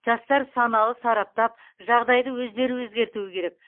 жастар саналы сараптап жағайды өздері өзгертуі керек